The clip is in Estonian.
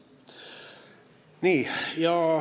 Nii.